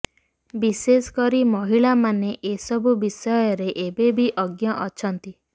ବିଶେଷ କରି ମହିଳାମାନେ ଏସବୁ ବିଷୟରେ ଏବେ ବି ଅଜ୍ଞ ଅଛନ୍ତି